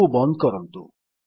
ଏହାକୁ ବନ୍ଦ କରନ୍ତୁ